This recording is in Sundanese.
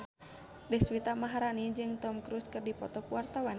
Deswita Maharani jeung Tom Cruise keur dipoto ku wartawan